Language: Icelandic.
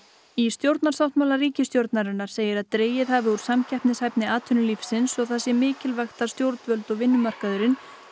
í stjórnarsáttmála ríkisstjórnarinnar segir að dregið hafi úr samkeppnishæfni atvinnulífsins og það sé mikilvægt að stjórnvöld og vinnumarkaðurinn